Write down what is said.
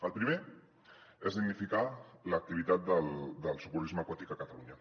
el primer és dignificar l’activitat del socorrisme aquàtic a catalunya